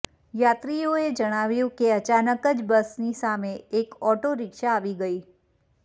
યાત્રીઓએ જણાવ્યું કે અચાનક જ બસની સામે એક ઓટો રિક્શા આવી ગઈ